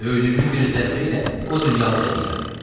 Döydüyümün bir zərbəylə o dünyalıq eləyirəm.